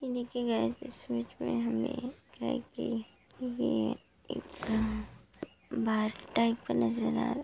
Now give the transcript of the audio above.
इन्हीं के नजर आ रहा।